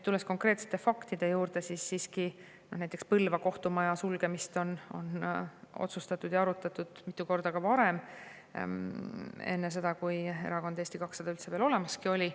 Tulles konkreetsete faktide juurde, siis näiteks Põlva kohtumaja sulgemist on arutatud ja otsustatud ka mitu korda varem, enne seda, kui erakond Eesti 200 üldse olemaski oli.